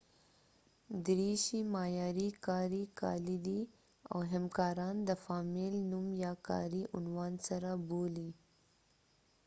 دریشي معیاري کاري کالي دي او همکاران د فامیل نوم یا کاري عنوان سره بولي